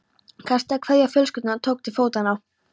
Kastaði kveðju á fjölskylduna og tók til fótanna.